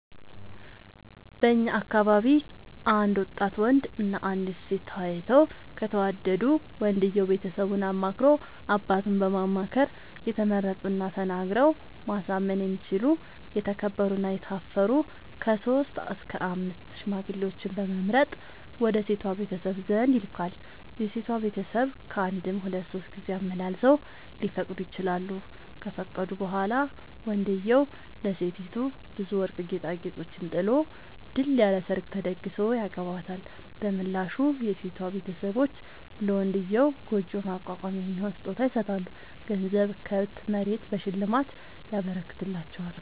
በእኛ አካባቢ አንድ ወጣት ወንድ እና አንዲት ሴት ተያይተው ከተወዳዱ ወንድየው ቤተሰቡን አማክሮ አባቱን በማማከር የተመረጡና ተናግረው ማሳመን የሚችሉ የተከበሩ እና የታፈሩ ከሶስት እስከ አምስት ሽማግሌዎችን በመምረጥ ወደ ሴቷ ቤተሰብ ዘንድ ይልካል። የሴቷ ቤተሰብ ካንድም ሁለት ሶስት ጊዜ አመላልሰው ሊፈቅዱ ይችላሉ። ከፈቀዱ በኋላ ወንድዬው ለሴቲቱ ብዙ ወርቅ ጌጣጌጦችን ጥሎ ድል ያለ ሰርግ ተደግሶ ያገባታል። በምላሹ የሴቷ ቤተሰቦች ለመንድዬው ጉጆ ማቋቋሚያ የሚሆን ስጦታ ይሰጣሉ ገንዘብ፣ ከብት፣ መሬት በሽልማት ይረከትላቸዋል።